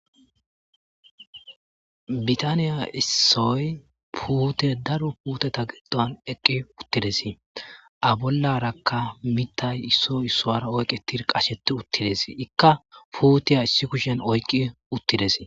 Bitaniya issoy puute daro puuteta giqdon eqqi uttides a bollarakka mitay issoy issoara oyqe tir qasheti uttides ikka puutiya issi kushen oyqqi uttides.